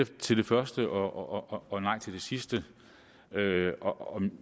til det første og nej til det sidste